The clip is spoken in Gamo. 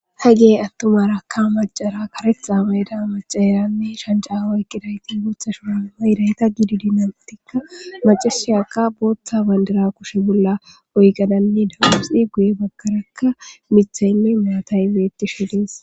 ha gey attumarakka macara karetha bayda macaeranne shanja wayqidayti gootha shuna ba7idayta gididi nantikka macashiyaka booththa bandira kushe bolla oygadanni dausi guye bagkarakka mithaynne maataybeetti shedees